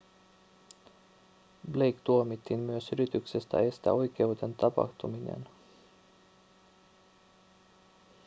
blake tuomittiin myös yrityksestä estää oikeuden tapahtuminen